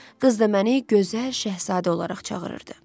Qız da məni gözəl şahzadə olaraq çağırırdı.